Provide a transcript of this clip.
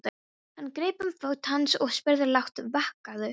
Hann greip um fót hans og spurði lágt: vakirðu?